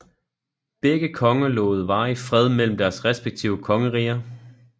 Begge konger lovede varig fred mellem deres respektive kongeriger